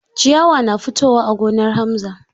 Ciyawa na fitowa a gonar Hamza.